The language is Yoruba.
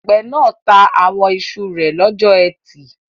Àgbẹ̀ náà ta àwọn iṣu rẹ̀ lọ́jọ́ ẹtì